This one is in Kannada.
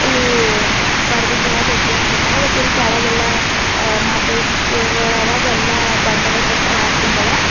ಇಲ್ಲಿ ಬರೆದಿಂದ್ ಆವ ದೊಡ್ಡು ಅಕ್ಷರ್ ನ್ಯಾಗ ಬಟ್ ಇಲ್ಲಿ ಕೆಳಗೆಲ್ಲ ಆ ನಾಕೈದು ಸ್ಟೋರ್ ಗಳ ಅವ ಅವೆಲ್ಲ ಬಂದ್ ಅವ ಶೆಟರ್ ಅಕಿಂದ್ ಅವ.